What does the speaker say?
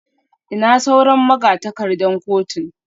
Ina sauran magatakardar kotun?